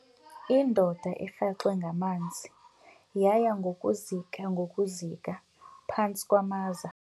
Indoda erhaxwe ngamanzi yaya ngokuzika ngokuzika phantsi kwamaza.